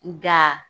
Nga